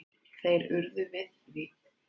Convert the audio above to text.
Þeir urðu við því.